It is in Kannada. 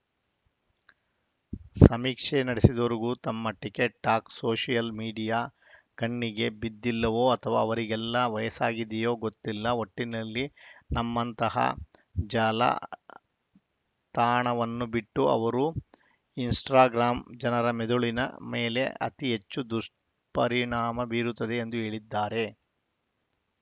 ಸಮೀಕ್ಷೆ ನಡೆಸಿದವರಿಗೆ ನಮ್ಮ ಟಿಕ್‌ಟಾಕ್‌ ಸೋಷಿಯಲ್‌ ಮೀಡಿಯಾ ಕಣ್ಣಿಗೆ ಬಿದ್ದಿಲ್ಲವೋ ಅಥವಾ ಅವರಿಗೆಲ್ಲ ವಯಸ್ಸಾಗಿದೆಯೋ ಗೊತ್ತಿಲ್ಲ ಒಟ್ಟಿನಲ್ಲಿ ನಮ್ಮಂತಹ ಜಾಲ ತಾಣವನ್ನು ಬಿಟ್ಟು ಅವರು ಇನ್‌ಸ್ಟಾಗ್ರಾಂ ಜನರ ಮೆದುಳಿನ ಮೇಲೆ ಅತಿಹೆಚ್ಚು ದುಷ್ಪರಿಣಾಮ ಬೀರುತ್ತದೆ ಎಂದು ಹೇಳಿದ್ದಾರೆ